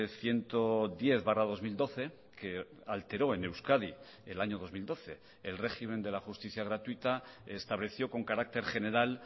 ciento diez barra dos mil doce que alteró en euskadi el año dos mil doce el régimen de la justicia gratuita estableció con carácter general